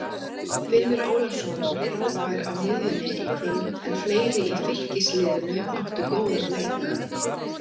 Finnur Ólafsson var frábær á miðjunni í kvöld en fleiri í Fylkisliðinu áttu góðan leik.